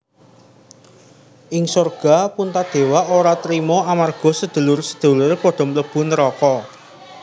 Ing sorga Puntadewa ora trima amarga sedulur sedulure padha mlebu neraka